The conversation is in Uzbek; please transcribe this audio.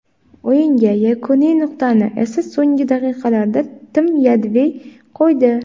O‘yinga yakuniy nuqtani esa so‘nggi daqiqalarda Tim Yedvay qo‘ydi.